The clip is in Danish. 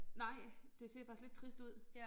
Nej det ser faktisk lidt trist ud